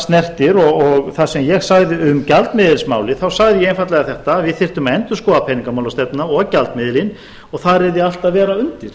snertir og það sem ég sagði um gjaldmiðilsmálið þá sagði ég einfaldlega þetta að við þyrftum að endurskoða peningamálastefnuna og gjaldmiðilinn og þar yrði allt að vera undir